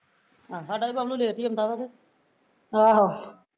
ਸਾਡਾ ਵੀ ਬੱਬਲੂ late ਹੀਂ ਆਉਂਦਾ ਵਾ ਕਿ